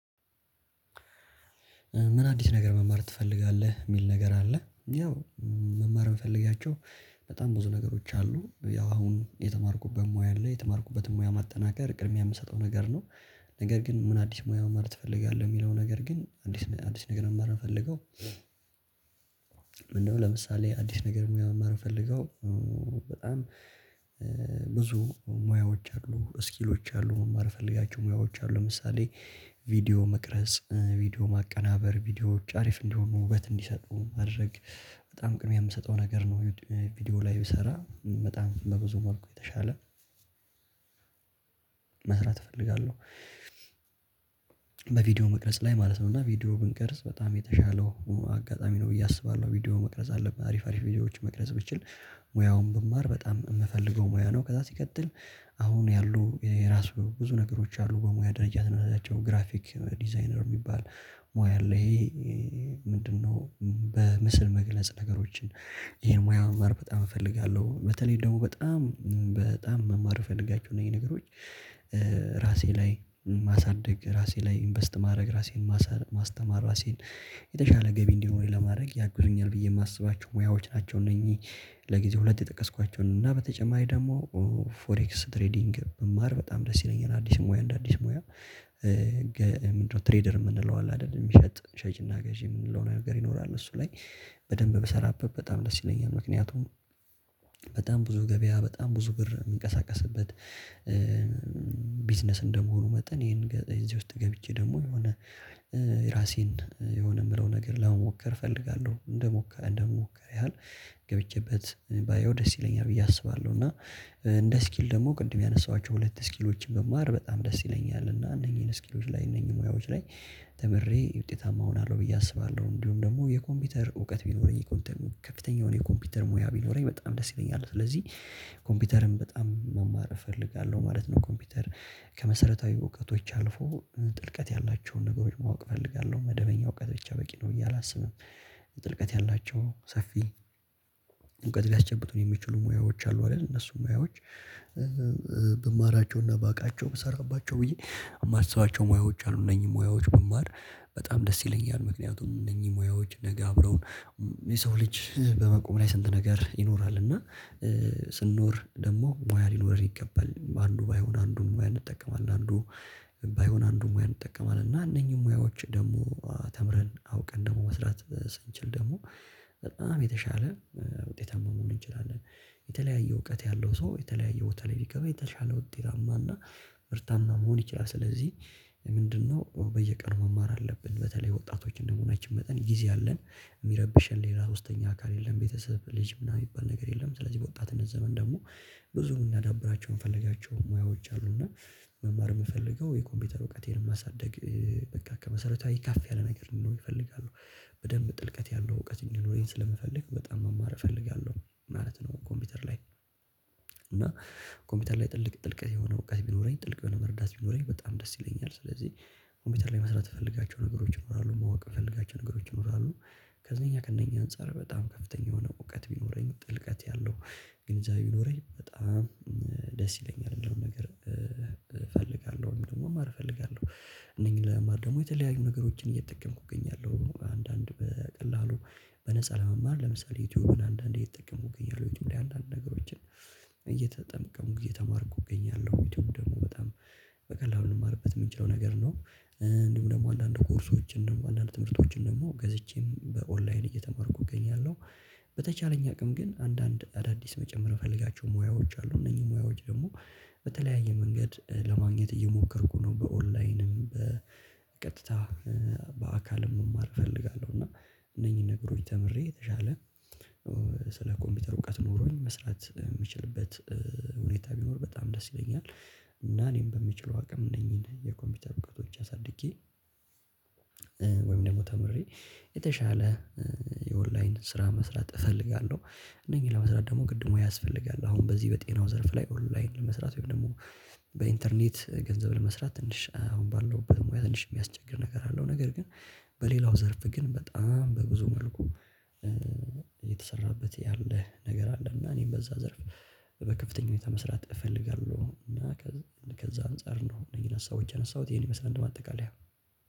ምን አዲስ ነገር መማር ትፈልጋለህ የሚል ነገር አለ? ያው መማር የምፈልጋቸው በጣም ብዙ ነገሮች አሉ ያው አሁን የተማርኩበት ሙያ አለ የተማርኩበትን ሙያ ማጠናከር ቅድሚያ የምሰጠው ነገር ነው። ነገር ግን ምን አዲስ ሙያ ማማር ትፈልጋለህ የሚለው ነገር ግን አዲስ አዲስ ነገር መማር የምፈልገው? ምንድነው ለምሳሌ አዲስ ነገር ሙያ መማር የምፈልገው። በጣም ብዙ ሙያዎች አሉ ስኪሎች አሉ መማር የምፈልጋቸው ሙያዎች አሉ ለምሳሌ ቪዲዮ መቅረጽ ቪዲዮ ማቀናበር ቪዲዮዎች አሪፍ እንዲሆኑ ውበት እንዲሰጡ ማድረግ በጣም ቅድሚያ የምሰጠው ነገር ነው። ቪዲዮ ላይ ብሰራ በጣም በብዙ መልኩ የተሻለ መስራት እፈልጋለሁ። በቪዲዮ መቅረጽ ላይ ማለት ነው እና ቪዲዮ ብንቀርጽ በጣም የተሻለው አጋጣሚ ነው ብዬ አስባለሁ ቪዲዮ መቅረጽ አለብን አሪፍ አሪፍ ቪዲዮዎችን መቅረጽ ብችል ሙያውን መማር በጣም የምፈልገው ሙያ ነው። ከዛ ሲቀጥል አሁን ያሉ የራሱ ብዙ ነገሮች አሉ በሙያ ደረጃ ግራፊክ ዲዛይነር የሚባል ሙያ ላይ ምንድነው? በምስል መግለጽ ነገሮችን ይሄን ሙያ መማር በጣም እፈልጋለሁ። በተለይ ደግሞ በጣም በጣም መማር የምፈለጋችሁ ነገሮች ራሴ ላይ ማሳደግ ራሴ ላይ ኢንቨስት ማድረግ ራሴን ማስተማር ራሴን የተሻለ ገቢ እንዲኖረኝ ለማድረግ ያግዙኛል ብዬ የማስባቸው ሙያዎች ናቸው። እነኚህ ለጊዜው ሁለት የጠቀስኳቸው እና በተጨማሪ ደግሞ ፎሬክስ ትሬዲንግ መማር በጣም ደስ ይለኛል። አዲስ ሙያ እንደ አዲስ ሙያ ምንድነው? ትሬደር የምንለው አለ አይደል የሚሸጥ ሸጪና ገዢ የምንለው ነገር ይኖራል እሱ ላይ በደንብ ብሰራበት በጣም ደስ ይለኛል። ምክንያቱም በጣም ብዙ ገበያ በጣም ብዙ ብር የሚንቀሳቀስበት ቢዝነስ እንደመሆኑ መጠን ይሄን እዚህ ውስጥ ገብቼ ደግሞ የሆነ የራሴን የሆነ የምለው ነገር ለመሞከር እፈልጋለሁ። እንድሞከር እንድሞከር ያህል ገብቼበት ባየው ደስ ይለኛል ብዬ አስባለሁ። እና እንደ ስኪል ደግሞ ቅድም ያነሳኋቸው ሁለት ስኪሎችን ብማር በጣም ደስ ይለኛል እና እነኚህን ስኪሎች ላይ እነኚህን ሙያዎች ላይ ተምሬ ውጤታማ እሆናለሁ ብዬ አስባለሁ። እንዲሁም ደግሞ የኮምፒውተር እውቀት ቢኖረኝ የኮምፒውተር ከፍተኛ የሆነ የኮምፒውተር ሙያ ቢኖረኝ በጣም ደስ ይለኛል። ስለዚህ ኮምፒውተርን በጣም መማር እፈልጋለሁ ማለት ነው። ኮምፒውተር ከመሰረታዊ እውቀቶች አልፎ ጥልቀት ያላቸውን ነገሮች ማወቅ እፈልጋለሁ መደበኛ እውቀት ብቻ በቂ ነው። እኛ አላስብም ጥልቀት ያላቸው ሰፊ እውቀት ሊያስጨብጡን የሚችሉ ሙያዎች አሉ አይደል? እነሱን ሙያዎች ብማራቸውና ባውቃቸው ብሰራባቸው ብዬ የማስባቸው ሙያዎች አሉ እነኚህ ሙያዎች ብማር በጣም ደስ ይለኛል። ምክንያቱም እነኚህ ሙያዎች ነገ አብረው የሰው ልጅ በመቆም ላይ ስንት ነገር ይኖራል እና ስንኖር ደግሞ ሞያ ሊኖር ይገባል። አንዱ ባይሆን አንዱን ሙያ እንጠቀማለን አንዱ ባይሆን አንዱን ሙያ እንጠቀማለን እና እነኚህን ሙያዎች ደግሞ ተምረን አውቀን ደግሞ መስራት ስንችል ደግሞ በጣም የተሻለ ውጤታማ መሆን እንችላለን። የተለያየ እውቀት ያለው ሰው የተለያየ ቦታ ላይ ቢገባ የተሻለ ውጤታማ እና ምርታማ መሆን ይችላል። ስለዚህ ምንድነው በየቀኑ መማር አለብን። በተለይ ወጣቶች እንደመሆናችን መጠን ጊዜ አለን የሚረብሸን ሌላ ሶስተኛ አካል የለም። ቤተሰብ ልጅ ምናምን የሚባል ነገር የለም። ስለዚህ በወጣትነት ዘመን ደግሞ ብዙም የምናዳብራቸው የምንፈልጋቸው ሙያዎች አሉ። እና መማር የምፈልገው የኮምፒውተር እውቀቴን ማሳደግ በቃ ከመሰረታዊ ከፍ ያለ ነገር ነው የምፈልጋለው። በደንብ ጥልቀት ያለው እውቀት እንዲኖረኝ ስለምፈልግ በጣም መማር እፈልጋለሁ ማለት ነው። ኮምፒውተር ላይ እና ኮምፒውተር ላይ ጥልቅ ጥልቅ የሆነ እውቀት ቢኖረኝ ጥልቅ የሆነ መረዳት ቢኖረኝ በጣም ደስ ይለኛል። ስለዚህ ኮምፒውተር ላይ መስራት የምፈልጋቸው ነገሮች ይኖራሉ ማወቅ የምፈልጋቸው ነገሮች ይኖራሉ። ከዚህኛው ከእነኛ አንፃር በጣም ከፍተኛ የሆነ እውቀት ቢኖረኝ ጥልቀት ያለው ግንዛቤ ቢኖረኝ በጣም ደስ ይለኛል። ያለው ነገር እፈልጋለሁ። ደግሞ መማር እፈልጋለሁ። እነኚህ ለመማር ደግሞ የተለያዩ ነገሮችን እየጠቀምኩ እገኛለሁ። አንዳንድ በቀላሉ በነፃ ለመማር ለምሳሌ ዩቲዩብን አንዳንዴ እየተጠቀመው ይገኛሉ። ዩቲዩብን አንዳንድ ነገሮችን እየተጠመቀሙ ጊዜ ተማርኩ እገኛለሁ። ዩቲዩብ ደግሞ በጣም በቀላሉ ልማርበት የምንችለው ነገር ነው። እንዲሁም ደግሞ አንዳንድ ኮርሶችን እንደው አንዳንድ ትምህርቶችን ደግሞ ገዝቼም በኦንላይን እየተማርኩ እገኛለሁ። በተቻለኝ አቅም ግን አንዳንድ አዳዲስ መጨመር እምፈልጋቸው ሙያዎች አሉ እነዚህ ሙያዎች ደግሞ በተለያየ መንገድ ለማግኘት እየሞከርኩ ነው። በኦንላይንም በቀጥታ በአካልም መማር እፈልጋለሁ። እና እነኚህን ነገሮች ተምሬ የተሻለ ስለ ኮምፒውተር እውቀት ኖሮኝ መስራት የምችልበት ሁኔታ ቢኖር በጣም ደስ ይለኛል። እና እኔም በምችለው አቅም እነኚህን የኮምፒውተር ብቃቶች አሳድጌ፤ ወይም ደግሞ ተምሬ የተሻለ የኦንላይን ስራ መስራት እፈልጋለሁ። እነኚህ ለመስራት ደግሞ ግድሙ ያስፈልጋል። አሁን በዚህ በጤናው ዘርፍ ላይ ኦንላይን ለመስራት ወይም ደግሞ በኢንተርኔት ገንዘብ ለመስራት ትንሽ አሁን ባለው በሙያ ትንሽ የሚያስቸግር ነገር አለው። ነገር ግን በሌላው ዘርፍ ግን በጣም በብዙ መልኩ የተሰራበት ያለ ነገር አለ። እና እኔም በዛ ዘርፍ በከፍተኛ ሁኔታ መስራት እፈልጋለሁ። እና ከዛ አንፃር እንደሆነ ይነሳው እጅ ያነሳሁት ይሄን ይመስላል እንደማጠቃለያ።